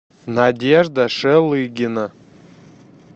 надежда шелыгина